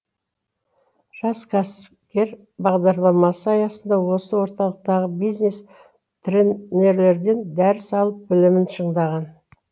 жас кәсіпкер бағдарламасы аясында осы орталықтағы бизнес тренерлерден дәріс алып білімін шыңдаған